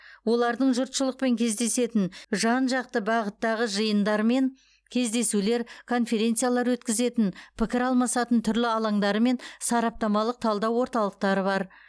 олардың жұртшылықпен кездесетін жан жақты бағыттағы жиындар мен кездесулер конференциялар өткізетін пікір алмасатын түрлі алаңдары мен сараптамалық талдау орталықтары бар